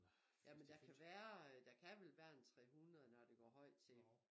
Jamen der kan være der kan vel være en 300 når det går højt til